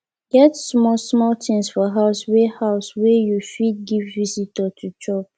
get small small things for house wey house wey you fit give visitor to chop